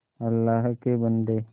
अल्लाह के बन्दे